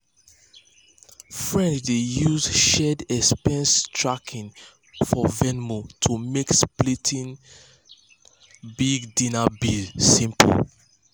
friends dey use shared expense tracking for venmo to make splitting big dinner bills simple.